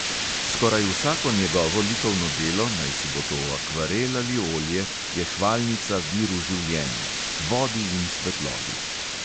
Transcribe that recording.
Skoraj vsako njegovo likovno delo, najsi bo to akvarel ali olje, je hvalnica viru življenja – vodi in svetlobi.